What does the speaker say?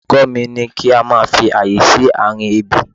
Olùkọ́ mi ní kí a máa fi àyè sí àárín ebè.